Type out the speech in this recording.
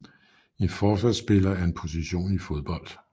En forsvarsspiller er en position i fodbold